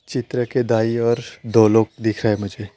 चित्र के दाएं ओर दो लोग दिख रहे हैं मुझे।